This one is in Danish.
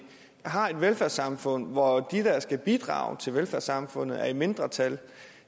har et velfærdssamfund hvor dem der skal bidrage til velfærdssamfundet er i mindretal